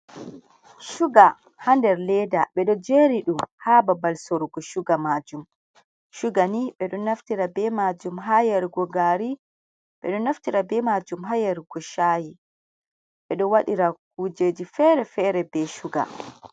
Shuga ha nder leda ɓeɗo jeri ɗum ha babal sorugo shuga majum. Shuga ni ɓeɗo naftira be majum ha yarugo gaari ɓeɗo naftira be majum ha yarugo sha'i ɓeɗo waɗira kujeji fere-fere be shuga.